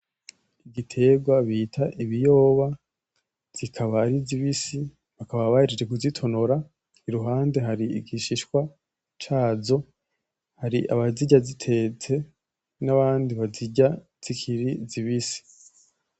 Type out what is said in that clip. Ibiterwa bita ibiyoba zikaba ari zibisi bakaba bahejeje kuzitonora iruhande hari igishishwa cazo, hari abazirya zitetse n'abandi bazirya ari zibisi.